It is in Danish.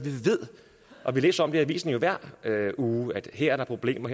hvor vi læser i avisen hver uge at her er der problemer